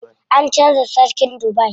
An canza sarkin Dubai.